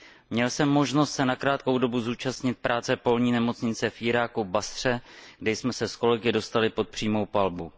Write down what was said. Měl jsem možnost se na krátkou dobu zúčastnit práce polní nemocnice v Iráku v Basře, kde jsme se s kolegy dostali pod přímou palbu.